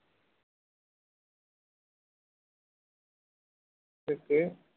থেকে